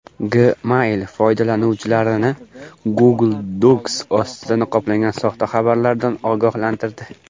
Gmail foydalanuvchilarni Google Docs ostida niqoblangan soxta xabarlardan ogohlantirdi.